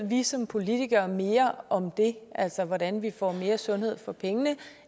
vi som politikere ved mere om det altså hvordan vi får mere sundhed for pengene